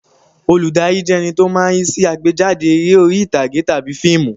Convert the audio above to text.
Olùdarí jẹ́ ẹní tó máa ń rí sí àgbéjáde eré orí ìtàgé tàbí fíìmù